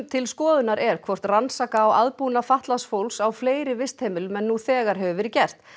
til skoðunar er hvort rannsaka á aðbúnað fatlaðs fólks á fleiri vistheimilum en nú þegar hefur verið gert